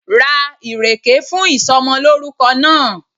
Ra ìrèkè fún ìsomolórúko náà